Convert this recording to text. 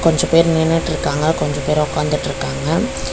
கொஞ்ச பேர் நின்னுட்ருக்காங்க கொஞ்ச பேர் ஒக்காந்துட்ருக்காங்க.